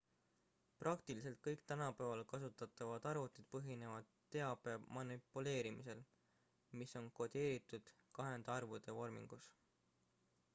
praktiliselt kõik tänapäeval kasutatavad arvutid põhinevad teabe manipuleerimisel mis on kodeeritud kahendarvude vormingus